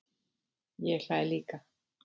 Ég hlæ líka.